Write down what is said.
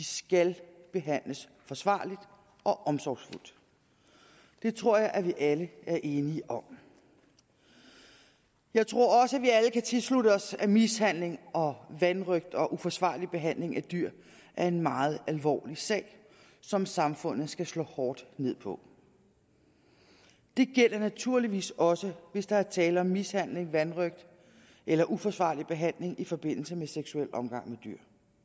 skal behandles forsvarligt og omsorgsfuldt det tror jeg at vi alle er enige om jeg tror også at vi alle kan tilslutte os at mishandling og vanrøgt og uforsvarlig behandling af dyr er en meget alvorlig sag som samfundet skal slå hårdt ned på det gælder naturligvis også hvis der er tale om mishandling vanrøgt eller uforsvarlig behandling i forbindelse med seksuel omgang med dyr